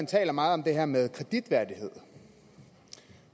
taler meget om det her med kreditværdighed